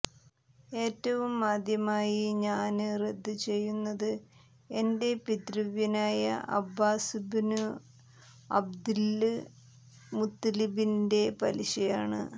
ഏറ്റവും ആദ്യമായി ഞാന് റദ്ദുചെയ്യുന്നത് എന്റെ പിതൃവ്യനായ അബ്ബാസുബ്നു അബ്ദില് മുത്ത്വലിബിന്റെ പലിശയാണ്